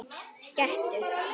Gettu